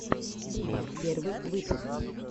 буба первый выпуск